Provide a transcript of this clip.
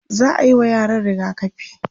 za'ayi wa yaran rigakafi